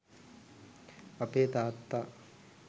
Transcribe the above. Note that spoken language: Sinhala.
අපේ තාත්තා